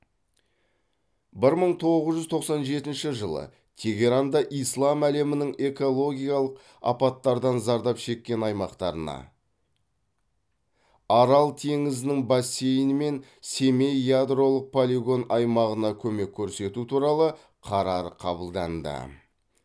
бір мың тоғыз жүз тоқсан жетінші жылы тегеранда ислам әлемінің экологиялық апаттардан зардап шеккен аймақтарына арал теңізінің бассейні мен семей ядролық полигон аймағына көмек көрсету туралы қарар қабылданды